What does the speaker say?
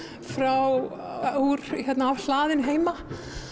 frá hlaðinu heima